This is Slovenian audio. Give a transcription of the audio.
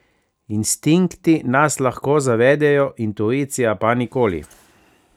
Instinkti nas lahko zavedejo, intuicija pa nikoli.